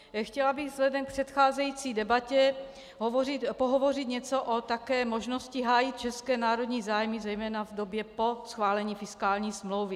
Chtěla bych vzhledem k předcházející debatě pohovořit něco také o možnosti hájit české národní zájmy zejména v době po schválení fiskální smlouvy.